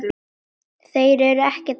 Þeir eru ekkert að spila?